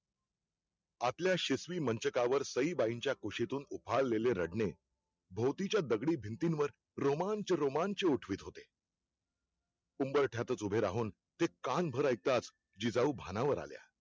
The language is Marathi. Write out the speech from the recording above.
आपल्या शिशवी मंचकावर सई बाईंचा कुशीतून उफाळलेले रडणे, भोवतीच्या दगडी भिंतींवर, रोमांच -रोमांच उठवीत होते उंबरठ्यातच ऊभे राहून ते कान भर ऐकताच जिजाऊ भानावर आल्या